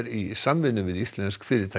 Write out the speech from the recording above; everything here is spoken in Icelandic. í samvinnu við íslensk fyrirtæki